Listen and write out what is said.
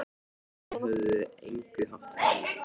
Þeir höfðu að engu haft bann